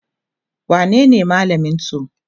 wanene malamin su?